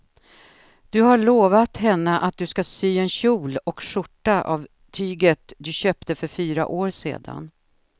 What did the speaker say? Du har lovat henne att du ska sy en kjol och skjorta av tyget du köpte för fyra år sedan.